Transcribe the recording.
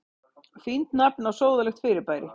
Fínt nafn á sóðalegt fyrirbæri.